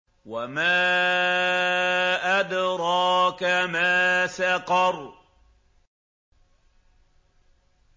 وَمَا أَدْرَاكَ مَا سَقَرُ